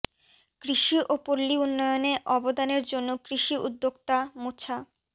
কৃষি ও পল্লী উন্নয়নে অবদানের জন্য কৃষি উদ্যোক্তা মোছা